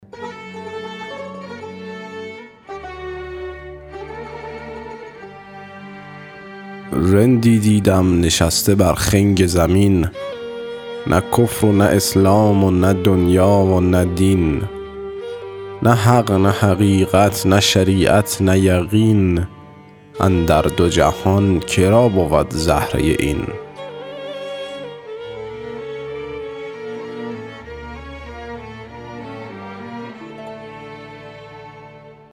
رندی دیدم نشسته بر خنگ زمین نه کفر و نه اسلام و نه دنیا و نه دین نه حق نه حقیقت نه شریعت نه یقین اندر دو جهان که را بود زهره این